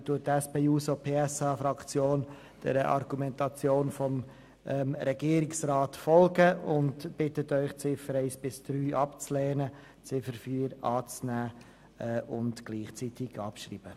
Deshalb folgt die SP-JUSO-PSA-Fraktion der Argumentation des Regierungsrats und bittet Sie, die Ziffern 1 bis 3 abzulehnen und die Ziffer 4 anzunehmen und gleichzeitig abzuschreiben.